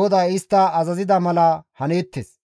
GODAY istta azazida mala haneettes.